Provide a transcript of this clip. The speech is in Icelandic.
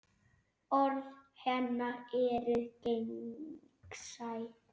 Orð hennar eru gegnsæ.